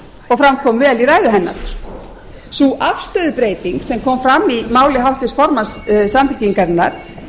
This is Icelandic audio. fram kom vel í ræðu hennar sú afstöðubreyting sem kom fram í máli háttvirts formanns samfylkingarinnar